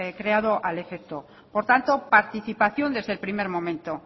creado al efecto por tanto participación desde el primer momento